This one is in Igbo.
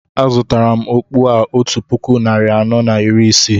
A zụtara m okpu a otu puku narị anọ na iri isii